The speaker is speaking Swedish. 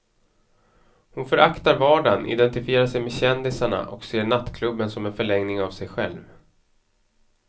Hon föraktar vardagen, identifierar sig med kändisarna och ser nattklubben som en förlängning av sig själv.